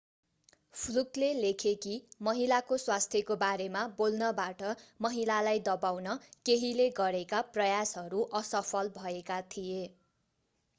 फ्लुकले लेखे कि महिलाको स्वास्थ्यको बारेमा बोल्नबाट महिलालाई दबाउन केहीले गरेका प्रयासहरू असफल भएका थिए